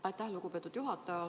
Aitäh, lugupeetud juhataja!